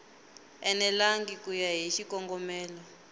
enelangi ku ya hi xikongomelo